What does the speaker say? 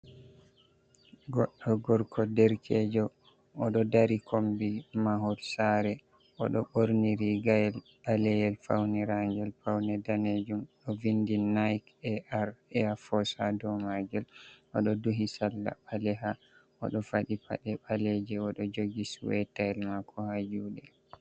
Goɗɗo gorko derkeejo, o ɗo dari kombi mahol saare, o ɗo ɓorni riigayel ɓaleyel fawniraangel pawne daneejum, ɗo vindi naaik-e'aar-eyaa-foos ha dow maagel, o ɗo duhi sarla ɓaleha, o ɗo faɗi paɗe ɓaleeje, o ɗo jogi suwetayel maako ha juuɗe.